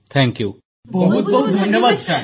ସମସ୍ତ NCC cadet ବହୁତ ବହୁତ ଧନ୍ୟବାଦ ସାର ଧନ୍ୟବାଦ